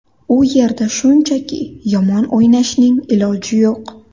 U yerda shunchaki, yomon o‘ynashning iloji yo‘q.